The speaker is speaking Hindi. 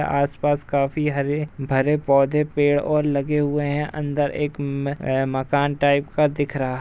आस पास काफी हरे भरे पौधे पेड़ और लगे हुए है अंदर एक में मकान टाइप का दिख रहा --